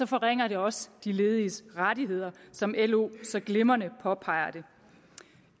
forringer det også de lediges rettigheder som lo så glimrende påpeger